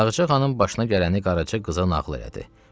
Ağacə xanım başına gələni qaraca qıza nağıl elədi.